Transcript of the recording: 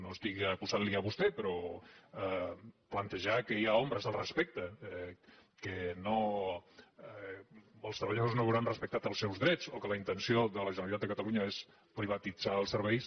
no estic acusant·lo a vostè però plan·tejar que hi ha ombres al respecte que els treballadors no veuran respectats els seus drets o que la intenció de la generalitat de catalunya és privatitzar els serveis